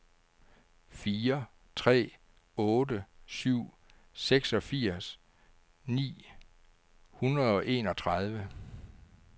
fire tre otte syv seksogfirs ni hundrede og enogtredive